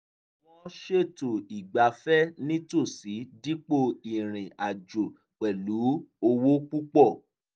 wọ́n ṣètò ìgbáfẹ̀ nítòsí dípò ìrìnàjò pẹ̀lú owó púpọ̀